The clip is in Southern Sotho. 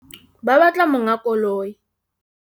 Ba batla monga koloi.